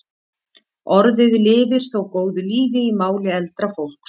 Orðið lifir þó góðu lífi í máli eldra fólks.